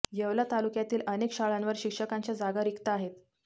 येवला तालुक्यातील अनेक शाळांवर शिक्षकांच्या जागा रिक्त आहेत